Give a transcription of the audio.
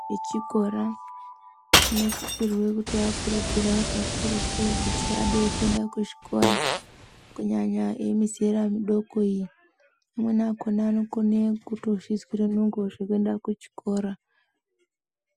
Echikora tinosisa kuvakurudzira kakururtu kuti vaende kuchikora kunyanya emizera midoko iyi amweni anokona kutozvizwira nungo zvekuenda kuchikora.